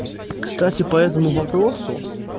кстати по этому вопросу